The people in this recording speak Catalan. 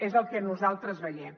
és el que nosaltres veiem